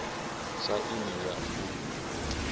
sa aini ya iuingo khomphutha